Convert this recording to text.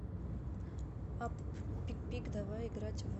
апп пикпик давай играть в